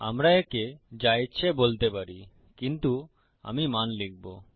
আমরা একে যা ইচ্ছে বলতে পারি কিন্তু আমি মান লিখবো